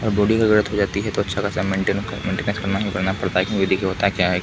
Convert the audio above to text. अगर बॉडी का गलत हो जाती है तो अच्छा खासा मेन्टेन्स करना ही पड़ता है ये देखिए होता क्या है।